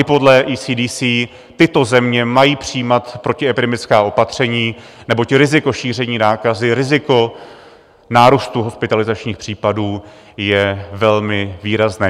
I podle ECDC tyto země mají přijímat protiepidemická opatření, neboť riziko šíření nákazy, riziko nárůstu hospitalizačních případů je velmi výrazné.